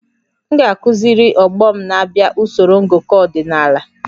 M ga-akụziri ọgbọ m na-abịa usoro ngụkọ ọdịnala